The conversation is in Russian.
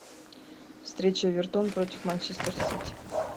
встреча эвертон против манчестер сити